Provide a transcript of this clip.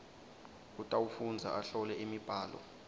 utawufundza ahlole imibhalo